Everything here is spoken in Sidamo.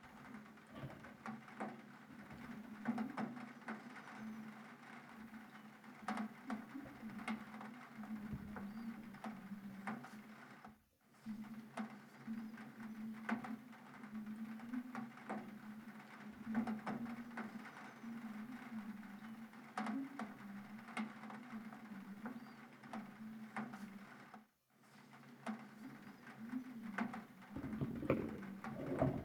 Qoqqowame mixashote dana affi'norichi biifanoho loonsonni garino la"ate baxisanoho mulesi kayinni duuchu raqaxi no moola haqqe waa wodhinani xaaso, caamu, mixasho lawinorino no gede leellano.